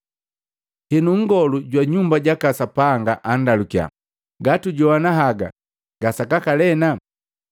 Henu nngolu nkolongu jwa nyumba jaka Sapanga andalukiya, “Gatugajowana haga gasakaka lena.”